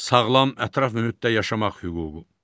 Sağlam ətraf mühitdə yaşamaq hüququ.